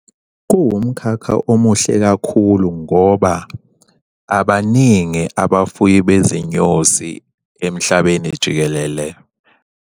Kuwumkhakha omuhle kakhulu ngoba abaningi abafuyi bezinyosi emhlabeni jikelele.